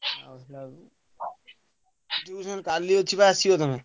Tuition କାଲି ଅଛି ବା ଆସିବ ତମେ।